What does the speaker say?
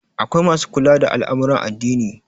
akwai masu kula da al'amuran addini